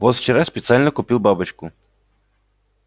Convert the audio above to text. вот вчера специально купил бабочку